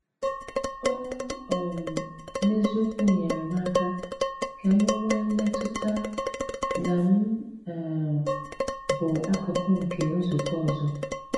Ó um n’eziokwu nyere m aka ka m nwee mmetụta na m um bụ̀ akụkụ̀ nke nzùkọ ọzọ.